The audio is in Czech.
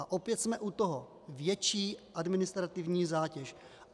A opět jsme u toho, větší administrativní zátěž.